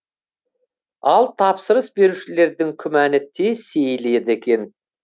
ал тапсырыс берушілердің күмәні тез сейіледі екен